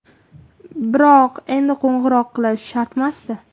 Biroq endi qo‘ng‘iroq qilish shartmasdi.